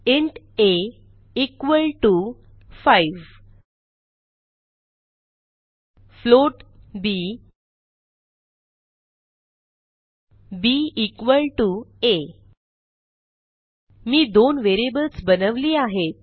int a equal to 5 float b b equal to a मी दोन variables बनवली आहेत